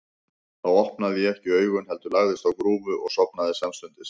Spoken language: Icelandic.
Þá opnaði ég ekki augun, heldur lagðist á grúfu og sofnaði samstundis.